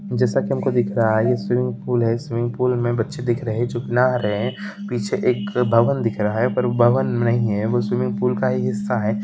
जैसा के हम को दिख रहा है ये स्विमिंग पूल है स्विमिंग पूल मे बच्चे दिख रही है जो कि नहा रही है पीछे एक भवन दिख रहा है पर वो भवन नहीं है वो स्विमिंग पूल का ही हिस्सा है।